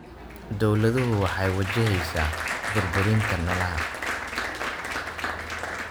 Dawladdu waxay wajaheysaa burburinta noolaha.